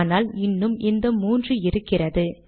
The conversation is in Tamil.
ஆனால் இன்னும் இந்த மூன்று இருக்கிறது